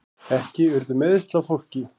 Ekki urðu meiðsl á fólki